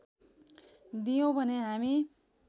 दियौँ भने हामी